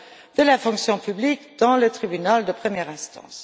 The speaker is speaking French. de la fonction publique dans le Tribunal de première instance.